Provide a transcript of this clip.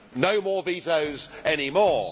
No more vetoes any more.